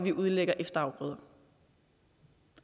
vi udlægger efterafgrøder